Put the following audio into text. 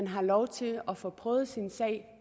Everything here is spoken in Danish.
har lov til at få prøvet sin sag